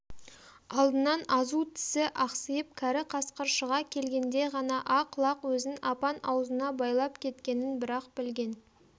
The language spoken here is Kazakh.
алдынан азу тісі ақсиып кәрі қасқыр шыға келгенде ғана ақ лақ өзін апан аузына байлап кеткенін бір-ақ білген